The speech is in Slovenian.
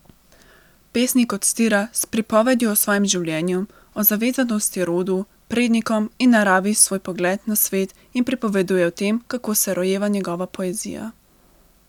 Pesnik odstira s pripovedjo o svojem življenju, o zavezanosti rodu, prednikom in naravi svoj pogled na svet in pripoveduje o tem, kako se rojeva njegova poezija.